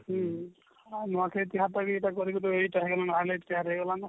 ହଁ ଆଉ ନୂଆଖାଇ ତିହାର ତ ଏଇଟା କରିକିରି ନହେଲେ ତିହାର ହେଇଗଲା ନା